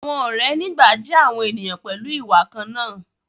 àwọn òré ní gbà jé àwọn ènìyàn pẹlú ìwà kànnà.